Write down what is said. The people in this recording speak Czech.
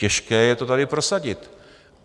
Těžké je to tady prosadit.